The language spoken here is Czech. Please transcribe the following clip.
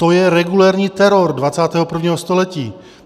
To je regulérní teror 21. století.